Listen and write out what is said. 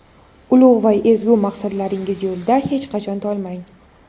ulug‘ va ezgu maqsadlaringiz yo‘lida hech qachon tolmang.